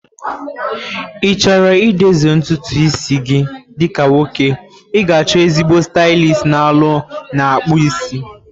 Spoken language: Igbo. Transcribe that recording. Ichoro i dozie ntutu isi gị dị ka nwoke, ịga achọ ezigbo stylist na ụlọ ana-akpu isi